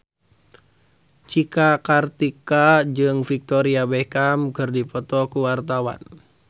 Cika Kartika jeung Victoria Beckham keur dipoto ku wartawan